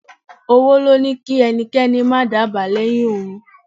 Owó ló ní kí ẹnikẹ́ni má dábàá lẹ́yìn òun.